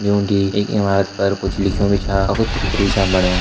यूँ टी एक इमारत पर कुछ लिख्यू भी छा अ कुछ चित्र भी छन बण्या।